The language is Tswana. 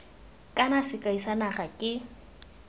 kana sekai sa naga ke